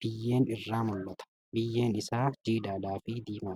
Biyyeen irraa mul'ata. Biyyeen isaa jiidhaadhaa fi diimaadha.